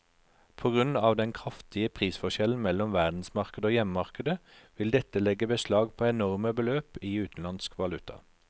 På grunn av den kraftige prisforskjellen mellom verdensmarkedet og hjemmemarkedet vil dette legge beslag på enorme beløp i utenlandsk valuta.